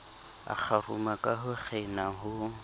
akgaruma ka ho kgena ho